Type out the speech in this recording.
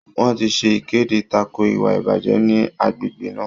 Wọ́n ti ṣe ìkéde tako ìwà ìbàjẹ́ ní agbègbè náà.